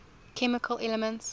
chemical elements